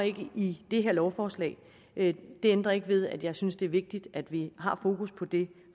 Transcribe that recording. i det her lovforslag men det ændrer ikke ved at jeg synes det er vigtigt at vi har fokus på det